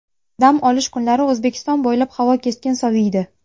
Dam olish kunlari O‘zbekiston bo‘ylab havo keskin soviydi.